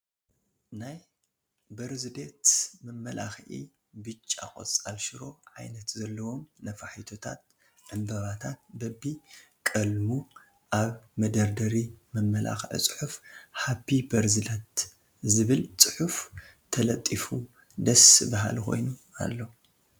ናይ በርዝዴት መምላክዒ ቢጫ ቆፃል ሽሮ ዓይነት ዘለዎም ንፋሒቶታት ዕምበባታ በቢ ቀልሙ ኣብ መደርደሪ መመላክዒ ፅሑፍ ሃፒ በርዝ ዴት ዝብል ፅሑፍ ተለጢፍዎ ደስ በሃሊ ኮኑ ኣሎ።